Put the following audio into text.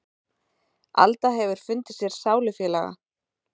Alda hefur fundið sér sálufélaga.